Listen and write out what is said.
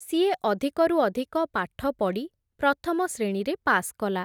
ସିଏ ଅଧିକରୁ ଅଧିକ ପାଠପଡ଼ି, ପ୍ରଥମ ଶ୍ରେଣୀରେ ପାସ୍ କଲା ।